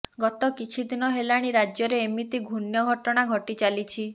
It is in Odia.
ଗତ କିଛିଦିନ ହେଲାଣି ରାଜ୍ୟରେ ଏମିତି ଘୃଣ୍ୟ ଘଟଣା ଘଟି ଚାଲିଛି